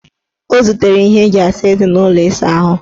O zutere ihe eji asa eze n' ụlọ ịsaahụ.